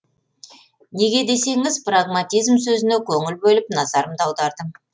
неге десеңіз прагматизм сөзіне көңіл бөліп назарымды аудардым